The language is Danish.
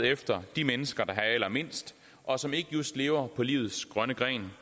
efter de mennesker der har allermindst og som ikke just lever på livets grønne gren